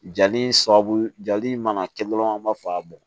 Jali in sababu jali mana kɛ dɔrɔn an b'a fɔ ka bɔn